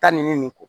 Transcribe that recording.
Taa nin ko